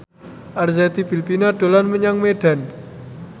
Arzetti Bilbina dolan menyang Medan